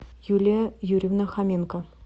юлия юрьевна хоменко